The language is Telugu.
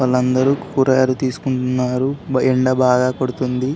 వాళ్ళు అందరూ కూరగాయలు తీసుకుంటున్నారు ఎండా బాగా కొడుతుంది.